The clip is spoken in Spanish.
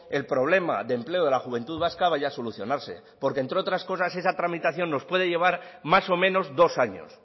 el problema de empleo de la juventud vasca vaya a solucionarse porque entre otras cosas esa tramitación nos puede llevar más o menos dos años